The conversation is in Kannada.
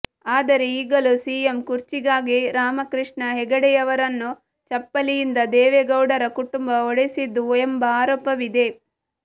ಆದರೆ ಈಗಲೂ ಸಿಎಂ ಕುರ್ಚಿಗಾಗಿ ರಾಮಕೃಷ್ಣ ಹೆಗಡೆಯವರನ್ನು ಚಪ್ಪಲಿಯಿಂದ ದೇವೆಗೌಡರ ಕುಟುಂಬ ಹೊಡೆಸಿತ್ತು ಎಂಬ ಆರೋಪವಿದೆ